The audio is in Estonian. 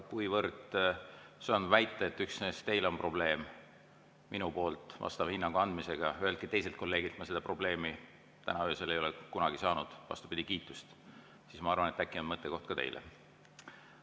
Kuivõrd söandan väita, et üksnes teil on probleem minu poolt vastava hinnangu andmisega, üheltki teiselt kolleegilt ma seda probleemi täna öösel ega kunagi ei ole kuulnud, vastupidi, olen kuulnud kiitust, siis ma arvan, et äkki on siin mõttekoht ka teile.